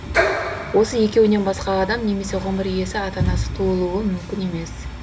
осы екеуінен басқа адам немесе ғұмыр иесі ата анасыз туылуы мүмкін емес